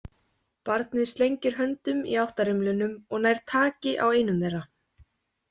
Barnið slengir höndum í átt að rimlunum og nær taki á einum þeirra.